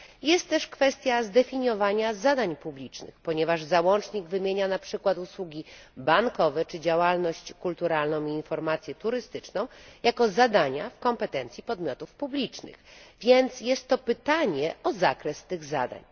Jest też kwestia zdefiniowania zadań publicznych, ponieważ załącznik wymienia na przykład usługi bankowe czy działalność kulturalną i informację turystyczną, jako zadania w kompetencji podmiotów publicznych, więc jest to pytanie o zakres tych zadań.